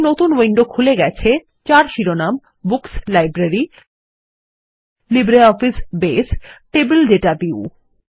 একটি নতুন উইন্ডো খুলে গেছে যার শিরোনাম books - library - LibreOffice Base table data view